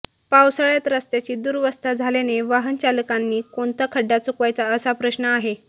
पावसाळ्यात रस्त्याची दुरवस्था झाल्याने वाहनचालकांनाही कोणता खड्डा चुकवायचा असा प्रश्न आहे